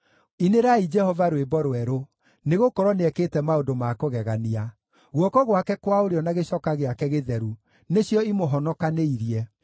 Inĩrai Jehova rwĩmbo rwerũ, nĩgũkorwo nĩekĩte maũndũ ma kũgegania; guoko gwake kwa ũrĩo na gĩcoka gĩake gĩtheru nĩcio imũhonokanĩirie.